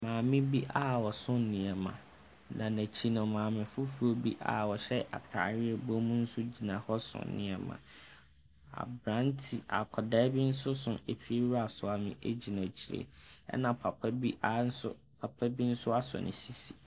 Maame bi a ɔso nneɛma, na n'akyi no, maame foforɔ a ɔhyɛ atadeɛ a ɛbɔ mu nso gyina hɔ so nneɛma. Aberante akwadaa bi nso so efiewura soa me gyina akyire, ɛna papa bi anso . Papa bi nso asɔ ne sisi.